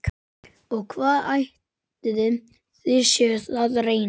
Og hvað ætlið þið séuð að reyna?